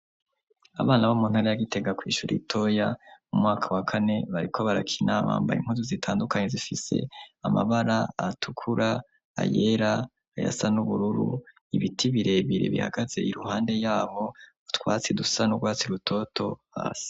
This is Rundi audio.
Abana bo mu ntara ya Gitega, kw'ishure ritoya mu mwaka wa kane, bariko barakina, bambaye impuzu zitandukanye zifise amabara atukura, ayera, ayasa n'ubururu, ibiti birebire bihagaze iruhande yabo, utwatsi dusa n'urwatsi rutoto hasi.